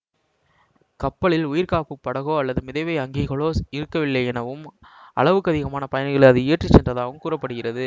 கப்பலில் உயிர்காப்புப் படகோ அல்லது மிதவை அங்கிகளோ இருக்கவில்லை எனவும் அளவுக்கதிகமான பயணிகளை அது ஏற்றி சென்றதாகவும் கூற படுகிறது